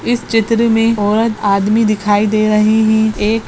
इस चित्र में औरत आदमी दिखाई दे रही । एक --